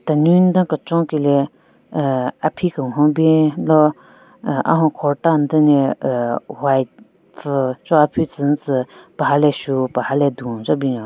Tenunyu den kechon ki le ahh aphi kenhon bwen lo ahh ahon kurta den le ahh white pvu cho aphu tsü nyu tsü paha le shu paha le dun che binyon.